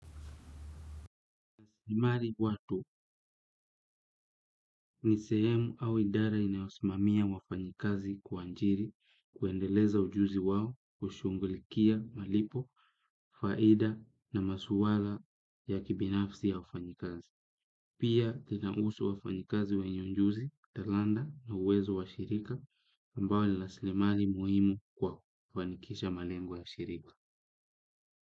Nimari watu ni sehemu au idara inaosimamia wafanyikazi kwa njiri kuendeleza ujuzi wawo kushungulikia malipo, faida na masuwala ya kibinafsi ya wafanyikazi. Pia kinausu wafanyikazi wenye ujuzi, talanda na uwezo wa shirika ambao lilasilemari muhimu kwa kufanikisha malengu ya shirika.